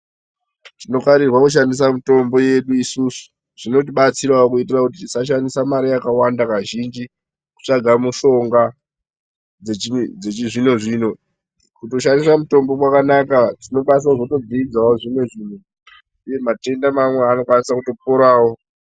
Tinovanirwa kushandisa mitombo yedu isusu zvinotibatsirawo kuti tisashandisa mare yakawanda kazhinji kutsvaga mishonga dzechizvino zvino kutoshandisa mutombo kwakanaka tinokwanisawo kuzodzidza zvimwe zvinhu uye matenda iwawo anokwanisa kutoporawo.